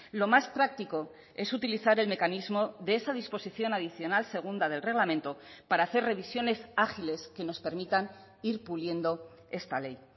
lo más práctico es utilizar el mecanismo de esa disposición adicional segunda del reglamento para hacer revisiones ágiles que nos permitan ir puliendo esta ley